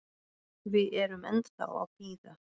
Við erum ennþá að bíða.